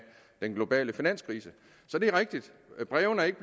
den globale finanskrise så det er rigtigt at brevene ikke